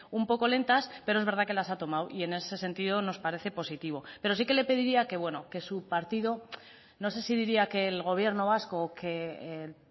un poco lentas pero es verdad que las ha tomado y en ese sentido nos parece positivo pero sí que le pediría que bueno que su partido no sé si diría que el gobierno vasco o que el